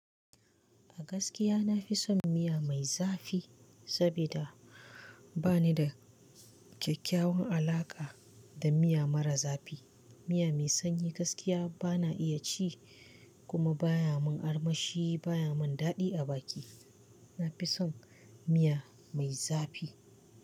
A gaskiya na fi son miya miya zafi saboda ba ni da kyakkyawan alaƙa da miya mara zafi. Miya mai sanyi gaskiya ba na iya ci kuma baya mun armashi baya mun daɗi a baki. Na fi son miya mai zafi.